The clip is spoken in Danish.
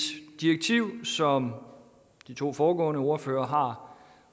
direktiv som de to foregående ordførere har